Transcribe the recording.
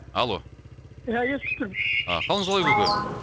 алло ия естіп тұрмын а қалыңыз қалай көке